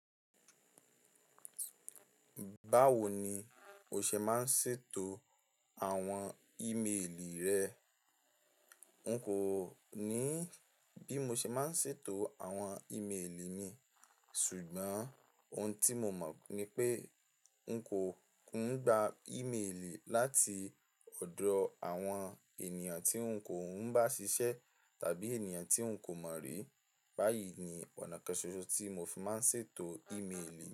Báwo ni o ṣe máa ń ṣètò àwọn ímeèlì rẹ? N kò ní bí mo ṣe máa ń ṣètò àwọn ímeèlì mi, ṣùgbọ́n ohun tí mo mọ̀ ni pé n kò ń gba ímeèlì láti ọ̀dọ̀ àwọn ènìyàn tí n kò ń bá ṣiṣẹ́ tàbí ènìyàn tí n kò mọ̀ rí. Báyìí ni ọ̀nà kan ṣoṣo tí mo fi máa ń ṣètò ímeèlì.